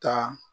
Taa